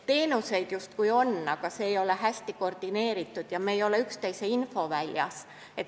Teenuseid justkui on, aga need ei ole hästi koordineeritud ja me ei ole üksteise infoväljas.